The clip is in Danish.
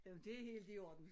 Jamen det helt i orden